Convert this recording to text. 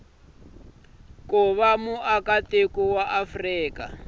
ku va muakatiko wa afrika